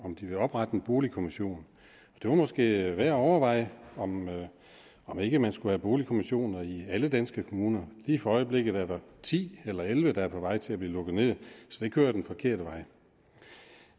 om de vil oprette en boligkommission det var måske værd at overveje om om ikke man skulle have boligkommissioner i alle danske kommuner lige for øjeblikket er der ti eller elleve der er på vej til at blive lukket ned så det kører jo den forkerte vej